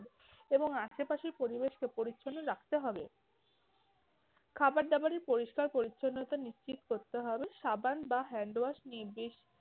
এবং আশেপাশের পরিবেশকে পরিচ্ছন্ন রাখতে হবে, খাবার দাবারের পরিষ্কার পরিচ্ছন্নতা নিশ্চিত করতে হবে, সাবান বা hand wash নিয়ে বেশ